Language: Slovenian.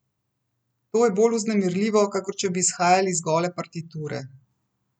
To je bolj vznemirljivo, kakor če bi izhajali iz gole partiture.